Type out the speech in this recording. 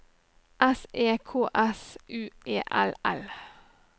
S E K S U E L L